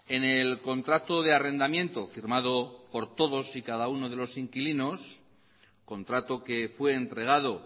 en el contrato de arrendamiento firmado por todos y cada uno de los inquilinos contrato que fue entregado